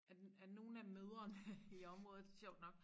At nogen af mødrene i området sjovt nok